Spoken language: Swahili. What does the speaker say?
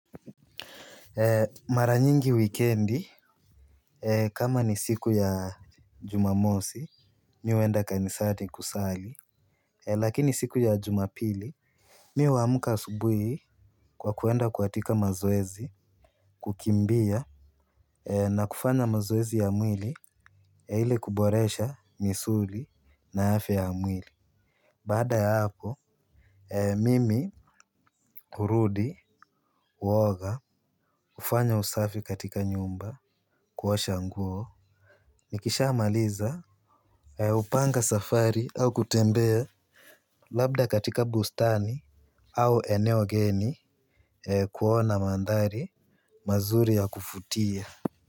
Mara nyingi wikendi, kama ni siku ya jumamosi, mimi huenda kanisani kusali. Lakini siku ya jumapili, mimi huamka asubuhi kwa kuenda katika mazoezi, kukimbia, na kufanya mazoezi ya mwili, ili kuboresha misuli na afya ya mwili. Baqda ya hapo, mimi, hurudi, huoga, hufanya usafi katika nyumba, kuosha nguo. Nikishamaliza hupanga safari au kutembea labda katika bustani au eneo geni kuona mandhari mazuri ya kuvutia.